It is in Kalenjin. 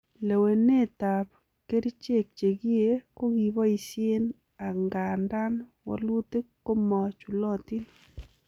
Lelewenetab kerichek chekiee kokiboisien angandan wolutik komochulotin.